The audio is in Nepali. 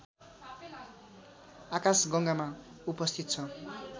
आकाशगङ्गामा उपस्थित छ